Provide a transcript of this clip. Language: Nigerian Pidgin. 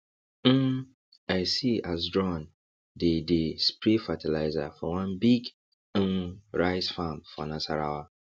um i see as drone dey dey spray fertilizer for one big um rice farm for nasarawa